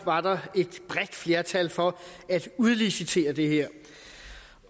var der et bredt flertal for at udlicitere det her